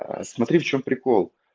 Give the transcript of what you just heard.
а смотри в чём прикол